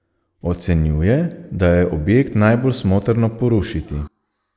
Ocenjuje, da je objekt najbolj smotrno porušiti.